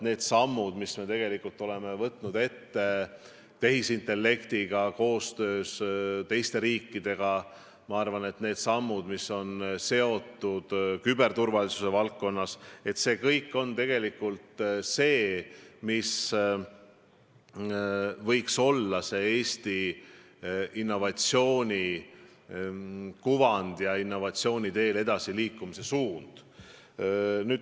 Need sammud, mis me oleme astunud tehisintellekti arendamisel koostöös teiste riikidega, need sammud, mis on seotud küberturvalisuse valdkonnaga – see kõik võiks olla edaspidigi Eesti edasiliikumise suund innovatsiooni teel.